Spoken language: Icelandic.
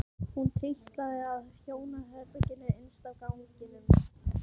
Hún trítlaði að hjónaherberginu innst á ganginum.